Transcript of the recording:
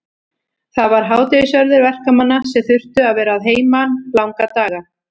Það var hádegisverður verkamanna sem þurftu að vera að heiman langa daga.